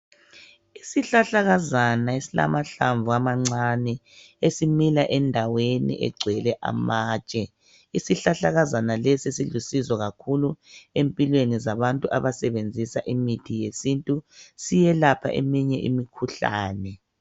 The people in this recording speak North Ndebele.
Isihlahlakazana esilamahlamvu amancane esimila endaweni egcwele amatshe. Isihlahlakazana lesi silusizo kakhulu empilweni zabantu abasebenzisa imithi yesintu, siyelapha eminye imikhuhlane